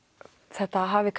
þetta hafi